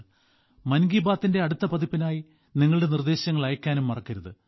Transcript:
മൻ കി ബാത്തിന്റെ അടുത്ത പതിപ്പിനായി നിങ്ങളുടെ നിർദ്ദേശങ്ങൾ അയയ്ക്കാനും മറക്കരുത്